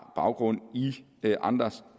baggrund i andres